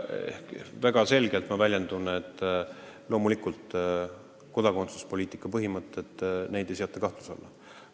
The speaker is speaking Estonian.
Tähendab, ma väljendun väga selgelt: loomulikult ei seata kodakondsuspoliitika põhimõtteid kahtluse alla.